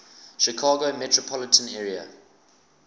chicago metropolitan area